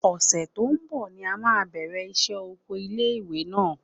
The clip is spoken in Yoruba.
Ọ̀sẹ̀ tó ń bọ̀ ni a máa bẹ̀rẹ̀ iṣẹ́ oko ilé ìwé náà.